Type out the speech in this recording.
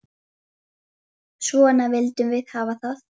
Svona vildum við hafa það.